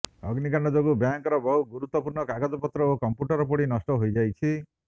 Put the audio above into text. ଅଗ୍ନିକାଣ୍ଡ ଯୋଗୁ ବ୍ୟାଙ୍କର ବହୁ ଗୁରୁତ୍ୱପୂର୍ଣ୍ଣ କାଗଜପତ୍ର ଓ କମ୍ପୁଟର ପୋଡି ନଷ୍ଟ ହୋଇଯାଇଛି